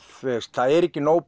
það er ekki nóg